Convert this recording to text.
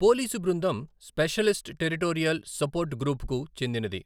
Police బృందం specialist territorial support గ్రూప్కు చెందినది.